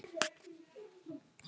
Hann pírði augun.